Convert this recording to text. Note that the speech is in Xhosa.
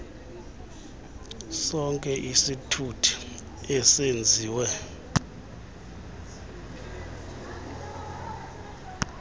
sonke isithuthi ezenziwe